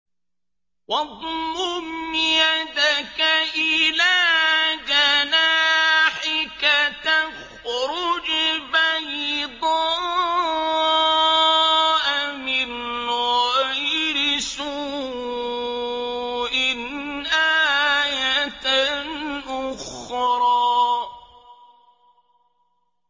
وَاضْمُمْ يَدَكَ إِلَىٰ جَنَاحِكَ تَخْرُجْ بَيْضَاءَ مِنْ غَيْرِ سُوءٍ آيَةً أُخْرَىٰ